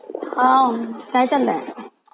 हा काय चाललंय?